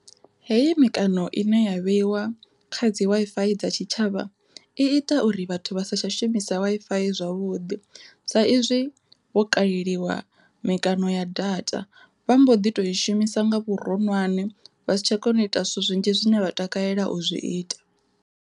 Heyi mikano ine ya vheiwa kha dzi Wi-Fi dza tshitshavha i ita uri vhathu vha sa tsha shumisa Wi-Fi zwavhuḓi sa izwi vho kaleliwa mikano ya data, vha mbo ḓi to i shumisa nga vhuroṅwane vha si tsha kona u ita zwithu zwinzhi zwine vha takalela u zwi ita.